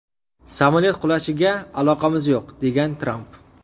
Samolyot qulashiga aloqamiz yo‘q”, degan Tramp.